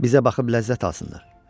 Bizə baxıb ləzzət alsınlar.